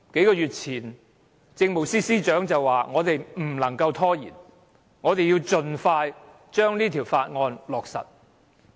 數月前，政務司司長表示不能拖延，要盡快通過《條例草案》。